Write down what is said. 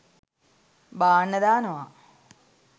බාන්න දානවා.